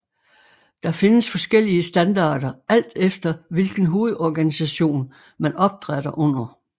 Der findes forskellige standarder alt efter hvilken hovedorganisation man opdrætter under